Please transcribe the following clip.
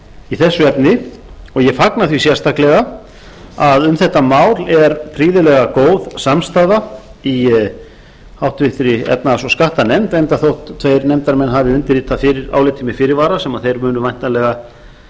í þessu efni og ég fagna því sérstaklega að um þetta mál er prýðilega góð samstaða í háttvirtri efnahags og skattanefnd enda þótt tveir nefndarmenn hafi undirritað álitið með fyrirvara sem þeir munu væntanlega